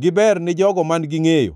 giber ni jogo man-gi ngʼeyo.